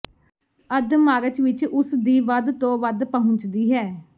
ਅੱਧ ਮਾਰਚ ਵਿਚ ਉਸ ਦੀ ਵੱਧ ਤੋਂ ਵੱਧ ਪਹੁੰਚਦੀ ਹੈ